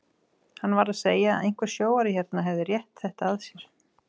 Hann var að segja að einhver sjóari hérna hefði rétt þetta að sér.